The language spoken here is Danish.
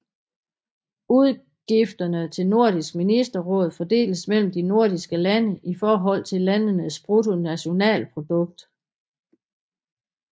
Udgifterne til Nordisk Ministerråd fordeles mellem de nordiske lande i forhold til landenes bruttonationalprodukt